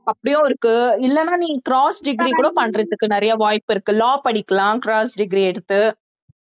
அப்படியும் இருக்கு இல்லைன்னா நீ cross degree கூட பண்றதுக்கு நிறைய வாய்ப்பு இருக்கு law படிக்கலாம் cross degree எடுத்து